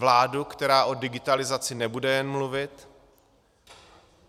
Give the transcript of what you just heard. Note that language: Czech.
Vládu, která o digitalizaci nebude jen mluvit.